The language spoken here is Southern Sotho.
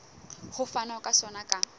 ho fanwa ka sona ka